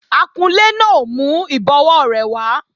Akunlé náà ò mú ìbọwó rẹ̀ wá